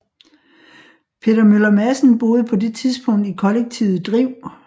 Peter Møller Madsen boede på det tidspunkt i kollektivet Driv